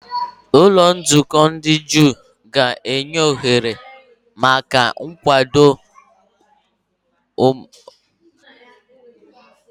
Ụlọ nzukọ ndị Juu ga-enye ohere maka ekpere, mmụta, na obodo, na-akwado omenala nke okwukwe ha.